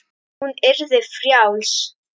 Hún yrði frjáls.